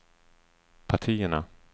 partierna